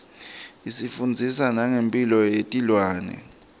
isifundzisa nangemphilo yetilwane